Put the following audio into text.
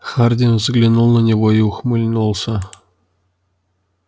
хардин взглянул на него и ухмыльнулся